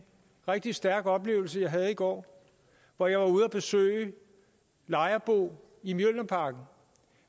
rigtig stærk oplevelse jeg havde i går hvor jeg var ude at besøge lejerbo i mjølnerparken